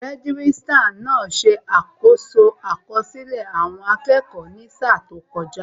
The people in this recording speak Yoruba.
Registrar náà ṣe àkoso àkọsílẹ̀ àwọn akẹ́kọ̀ọ́ ní sáà tó kọjá